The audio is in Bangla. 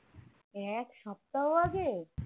এক সপ্তাহ আগে